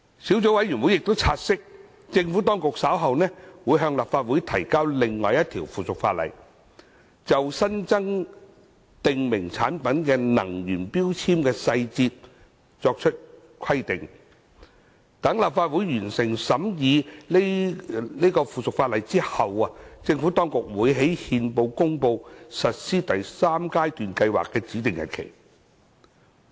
小組委員會察悉，政府當局稍後會向立法會提交另一項附屬法例，就新增訂明產品能源標籤的細節作出規定，待立法會完成審議該附屬法例後，政府當局會於憲報公告實施第三階段計劃的指定日期。